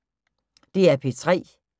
DR P3